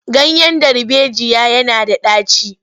Ganyen darbejiya yana da ɗaci.